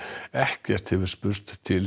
ekkert hefur spurst til